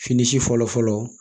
Fini si fɔlɔ fɔlɔ